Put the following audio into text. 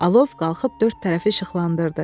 Alov qalxıb dörd tərəfi işıqlandırdı.